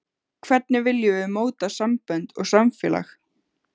Hvernig viljum við móta sambönd og samfélag?